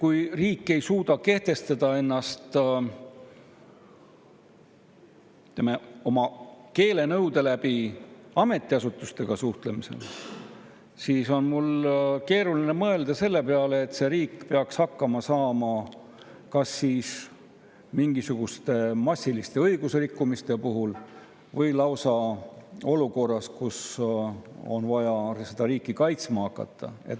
Kui riik ei suuda kehtestada ennast, ütleme, keelenõude ametiasutustes, siis on mul keeruline mõelda, et see riik peaks hakkama saama kas siis mingisuguste massiliste õigusrikkumiste puhul või lausa olukorras, kus on vaja seda riiki kaitsma hakata.